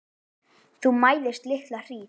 Þú mæðist litla hríð.